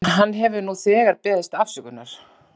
En hann hefur nú þegar beðist afsökunar.